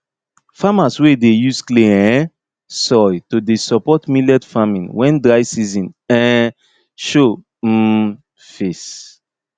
farmers wey e dey use clay um soil to dey support millet farming when dry season um show um face